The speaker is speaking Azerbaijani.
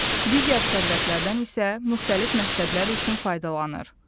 Digər sərvətlərdən isə müxtəlif məqsədlər üçün faydalanır.